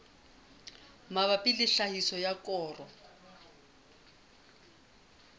mabapi le tlhahiso ya koro